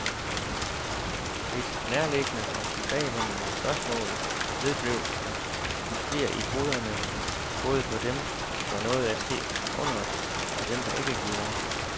Et nærliggende og tilbagevendende spørgsmål vedblev at rumstere i hovederne både på dem, der nåede at se underet, og dem, der ikke gjorde.